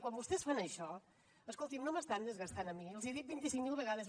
quan vostès fan això escolti’m no m’estan gastant a mi els hi he dit vint cinc mil vegades